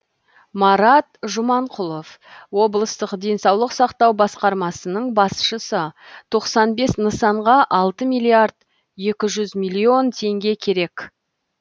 марат жұманқұлов облыстық денсаулық сақтау басқармасының басшысы тоқсан бес нысанға алты миллиард екі жүз миллион теңге керек